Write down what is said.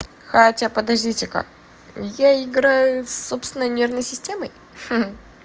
хотя подождите ка я играю с собственной нервной системой ха-ха-ха